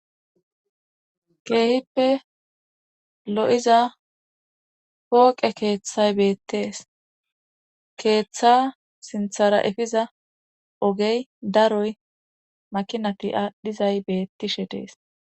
keehippe lo7iza pooqe keeththay beettees keeththa sinthara efiza ogey daroy makinati aadhdhizay beettishe dees